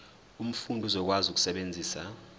umfundi uzokwazi ukusebenzisa